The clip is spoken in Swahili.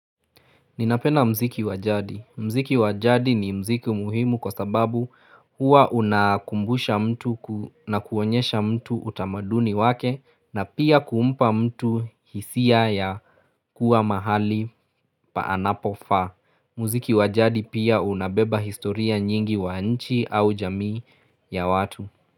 Ninapena mziki wajadi. Mziki wajadi ni mziki muhimu kwa sababu hua unakumbusha mtu na kuonyesha mtu utamaduni wake na pia kuumpa mtu hisia ya kuwa mahali paanapofaa. Mziki wajadi pia unabeba historia nyingi wa nchi au jamii ya watu.